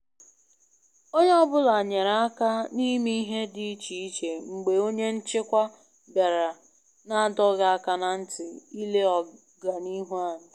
Onye ọ bụla nyere aka na ime ihe dị iche iche mgbe onye nchịkwa bịara na adọghị aka na ntị ile ọganihu anyị